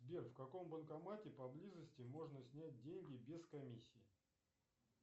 сбер в каком банкомате поблизости можно снять деньги без комиссии